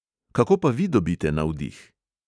Kako pa vi dobite navdih?